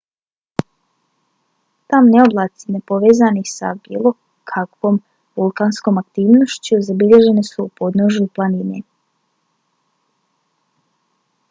tamni oblaci nepovezani sa bilo kakvom vulkanskom aktivnošću zabilježeni su u podnožju planine